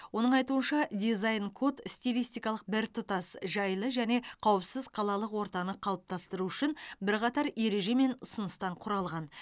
оның айтуынша дизайн код стилистикалық біртұтас жайлы және қауіпсіз қалалық ортаны қалыптастыру үшін бірқатар ереже мен ұсыныстан құралған